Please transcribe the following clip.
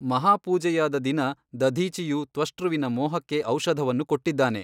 ಮಹಾಪೂಜೆಯಾದ ದಿನ ದಧೀಚಿಯು ತ್ವಷ್ಟೃವಿನ ಮೋಹಕ್ಕೆ ಔಷಧವನ್ನು ಕೊಟ್ಟಿದ್ದಾನೆ.